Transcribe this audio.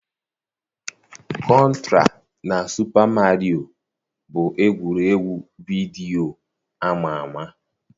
Kọntra na Supa Mario bụ egwuregwu vidiyo ama ama